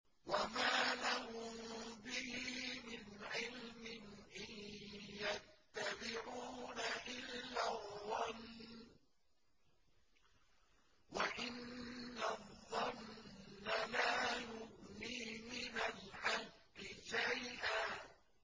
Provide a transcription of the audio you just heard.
وَمَا لَهُم بِهِ مِنْ عِلْمٍ ۖ إِن يَتَّبِعُونَ إِلَّا الظَّنَّ ۖ وَإِنَّ الظَّنَّ لَا يُغْنِي مِنَ الْحَقِّ شَيْئًا